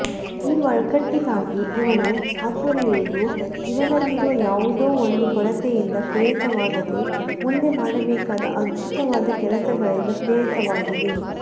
ಈ ಒಗ್ಗಟ್ಟಿಗಾಗಿ ಇವನು ಹಾತೊರೆಯುವುದು ಇವನಲ್ಲಿರೋ ಯಾವುದೋ ಒಂದು ಕೊರತೆಯಿಂದ ಪ್ರೇರಿತವಾಗದೆ ಮುಂದೆ ಮಾಡಬೇಕಾದ ಅದ್ಭುತವಾದ ಕೆಲಸಗಳಿಂದ ಪ್ರೇರಿತವಾಗಿದೆ